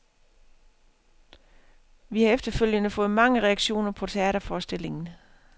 Vi har efterfølgende fået mange reaktioner på teaterforestillingen.